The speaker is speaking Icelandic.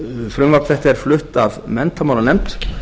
frumvarp þetta er flutt af menntamálanefnd